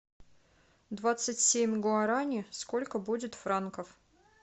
двадцать семь гуарани сколько будет франков